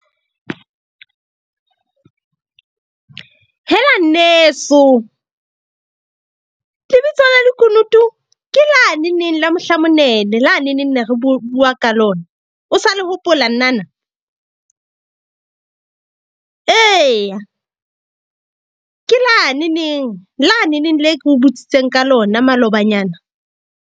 Hela, nneso. Lebitso la lekunutu ke la neneng la mohla monene la neneng ne re bua ka lona, o sa le hopola nnana? Eya, ke la ne neng la neneng le ko butsitseng ka lona malobanyana.